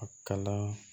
A kalan